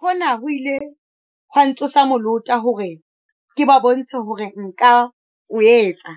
"Hona ho ile ha ntsosa molota hore ke ba bontshe hore nka o etsa,